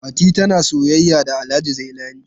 Fati tana soyayya da Alhaji Zailani.